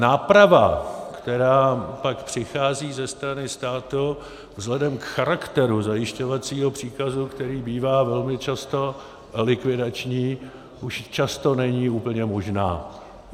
Náprava, která pak přichází ze strany státu vzhledem k charakteru zajišťovacího příkazu, který bývá velmi často likvidační, už často není úplně možná.